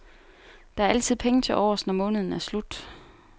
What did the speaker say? Der er altid penge til overs, når måneden er slut.